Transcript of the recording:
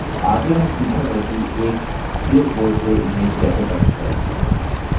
आगे हम सीखेंगे कि एक clipboard से image कैसे प्रविष्ट करें